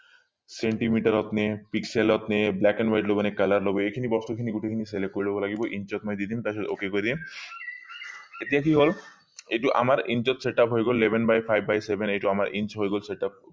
centimeter ত নে pixel ত নে black and white লবনে color লব এইখিনি বস্তু খিনি গোটেই খিনি select কৰি লব লাগিব insert মই দি দিম তাৰ পিছত ok কৰি দিম এতিয়া কি হলা এইটো আমাৰ insert setup হৈ গল eleven by five by seven এইটো আমাৰ হৈ গল setup